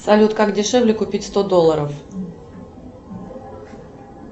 салют как дешевле купить сто долларов